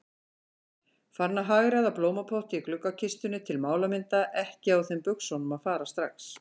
Farin að hagræða blómapotti í gluggakistunni til málamynda, ekki á þeim buxunum að fara strax.